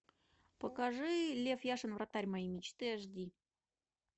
покажи лев яшин вратарь моей мечты аш ди